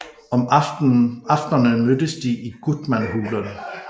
Om aftenerne mødtes de i Gutmanhulen